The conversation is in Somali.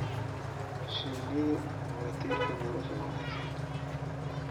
Shinnidu waa tiirka nolosha wanaagsan.